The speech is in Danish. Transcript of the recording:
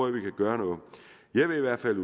at vi kan gøre noget jeg vil i hvert fald